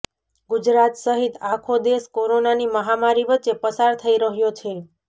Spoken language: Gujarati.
ગુજરાત સહિત આખો દેશ કોરોનાની મહામારી વચ્ચે પસાર થઈ રહ્યો છે